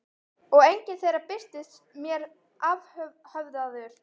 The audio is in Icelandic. Og enginn þeirra birtist mér afhöfðaður.